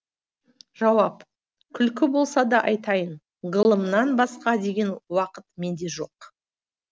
жауап күлкі болса да айтайын ғылымнан басқа деген уақыт менде жоқ